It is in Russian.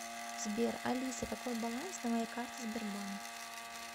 сбер алиса какой баланс на моей карте сбербанк